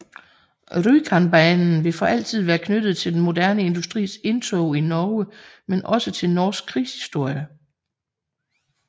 Rjukanbanen vil for altid være knyttet til den moderne industris indtog i Norge men også til norsk krigshistorie